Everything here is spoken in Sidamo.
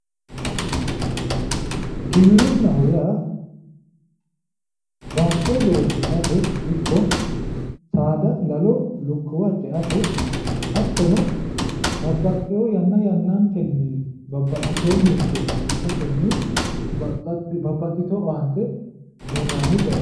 Giwirinaho yaa baatto loosirate ikko saada lalo lukkuwa ceate hattono babbaxewo yanna yannanittenni babbaxitewo mirite shiqishatenni babbaxitewo owaante uyinanni bayichooti